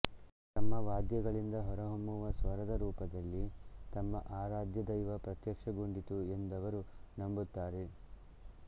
ತಮ್ಮ ವಾದ್ಯಗಳಿಂದ ಹೊರಹೊಮ್ಮುವ ಸ್ವರದ ರೂಪದಲ್ಲಿ ತಮ್ಮ ಆರಾಧ್ಯದೈವ ಪ್ರತ್ಯಕ್ಷಗೊಂಡಿತು ಎಂದವರು ನಂಬುತ್ತಾರೆ